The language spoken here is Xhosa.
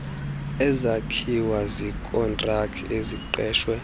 ezakhiwa ziikontraki eziqeshwe